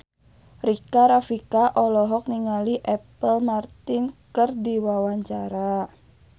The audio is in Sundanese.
Rika Rafika olohok ningali Apple Martin keur diwawancara